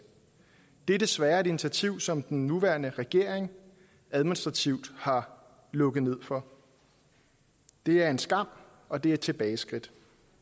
det er desværre et initiativ som den nuværende regering administrativt har lukket for det er en skam og det er et tilbageskridt